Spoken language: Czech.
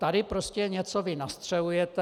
Tady prostě vy něco nastřelujete.